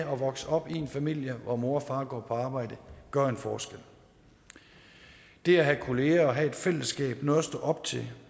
vokse op i en familie hvor mor og far går på arbejde gør en forskel det at have kolleger og have et fællesskab noget at stå op til